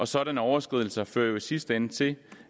sådanne overskridelse fører jo i sidste ende til